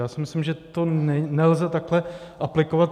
Já si myslím, že to nelze takhle aplikovat.